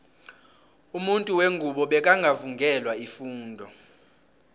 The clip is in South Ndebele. umuntu wengubo bekangaka vungelwa ifundo